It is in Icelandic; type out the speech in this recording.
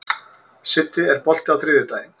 Siddi, er bolti á þriðjudaginn?